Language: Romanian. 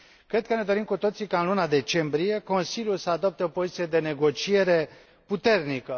Cred că ne dorim cu toții ca în luna decembrie Consiliul să adopte o poziție de negociere puternică.